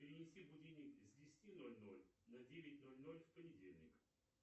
перенеси будильник с десяти ноль ноль на девять ноль ноль в понедельник